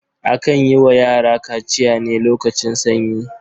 Akan yi wa yara kaciya ne lokacin sanyi.